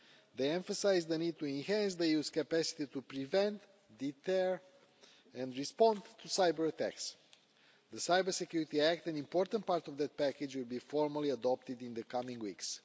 These emphasised the need to enhance the EU's capacity to prevent, deter and respond to cyber-attacks. The Cyber Security Act an important part of the package will be formally adopted in the coming weeks.